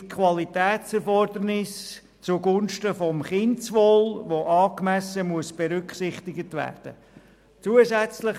Es gibt Qualitätserfordernisse zugunsten des Kindeswohls, das angemessen berücksichtigt werden muss.